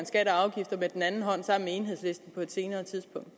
skatter og afgifter med den anden hånd sammen med enhedslisten på et senere tidspunkt